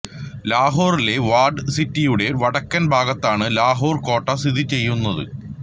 ലാഹോറിലെ walled സിറ്റിയുടെ വടക്കൻ ഭാഗത്താണ് ലാഹോർ കോട്ട സ്ഥിതിചെയ്യുന്നത്